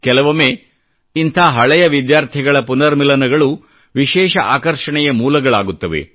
ಕೆಲವೊಮ್ಮೆ ಇಂಥ ಹಳೆಯ ವಿದ್ಯಾರ್ಥಿಗಳ ಪುನರ್ಮಿಲನ ಗಳು ವಿಶೇಷ ಆಕರ್ಷಣೆಯ ಮೂಲಗಳಾಗುತ್ತವೆ